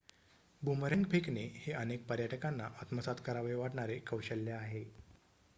boomerang फेकणे हे अनेक पर्यटकांना आत्मसात करावे वाटणारे कौशल्य आहे